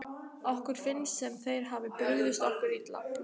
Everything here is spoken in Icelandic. Okkur finnst sem þeir hafi brugðist okkur illa.